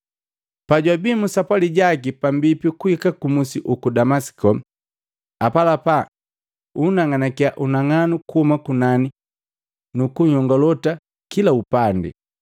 Pajwabii mu sapwali jaki pambipi kuhikii kumusi uku Damasiko, apalapa unang'anakiya unang'anu kuuma kunani nuku nhyongolota kila upandi,